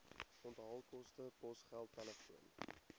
onthaalkoste posgeld telefoon